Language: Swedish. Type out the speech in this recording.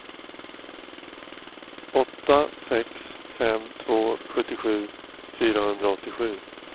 åtta sex fem två sjuttiosju fyrahundraåttiosju